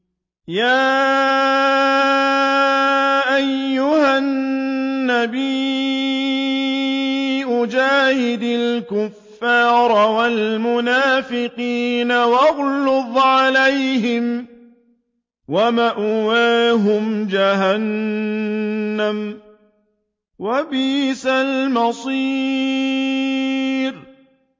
يَا أَيُّهَا النَّبِيُّ جَاهِدِ الْكُفَّارَ وَالْمُنَافِقِينَ وَاغْلُظْ عَلَيْهِمْ ۚ وَمَأْوَاهُمْ جَهَنَّمُ ۖ وَبِئْسَ الْمَصِيرُ